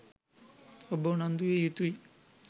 ඔබ උනන්දු විය යුතුයි